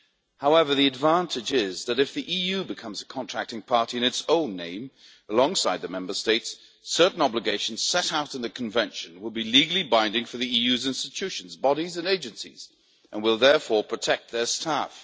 However, the advantage is that, if the EU becomes a contracting party in its own name, alongside the Member States, certain obligations set out in the Convention will be legally binding for the EU's institutions, bodies and agencies and will therefore protect their staff.